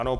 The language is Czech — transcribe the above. Ano.